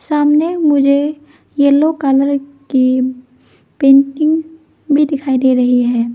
सामने मुझे yellow colour कि पेंटिंग भी दिखाई दे रही है।